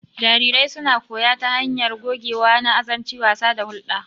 Jarirai suna koyo ta hanyar gogewa na azanci, wasa, da hulɗa.